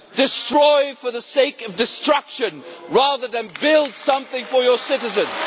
Destroy for the sake of destruction rather than build something for your citizens?